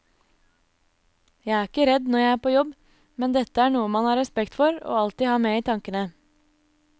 Jeg er ikke redd når jeg er på jobb, men dette er noe man har respekt for og alltid har med i tankene.